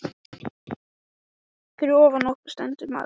Fyrir ofan okkur stendur maður á stillans.